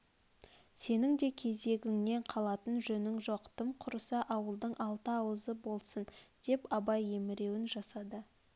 сенің де кезегіңнен қалатын жөнің жоқ тым құрыса ауылдың алты ауызы болсын деп абай емеурін жасады